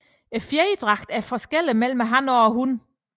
Fjerdragten er forskellig mellem han og hun